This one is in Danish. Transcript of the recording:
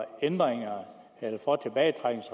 andre